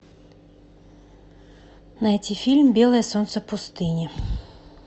найти фильм белое солнце пустыни